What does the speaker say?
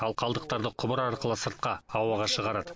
ал қалдықтарды құбыр арқылы сыртқа ауаға шығарады